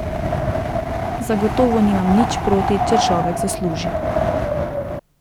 Zagotovo nimam nič proti, če človek zasluži.